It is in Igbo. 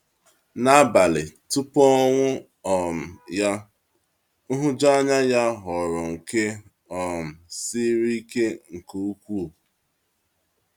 N’abalị tupu ọnwụ um ya, nhụjuanya ya ghọrọ nke um siri ike nke ukwuu.